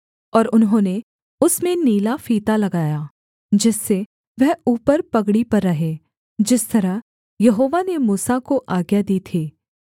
और उन्होंने उसमें नीला फीता लगाया जिससे वह ऊपर पगड़ी पर रहे जिस तरह यहोवा ने मूसा को आज्ञा दी थी